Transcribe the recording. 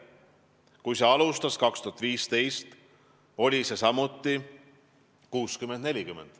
Kui see aastal 2015 alustas, oli seal suhe samuti 60 : 40.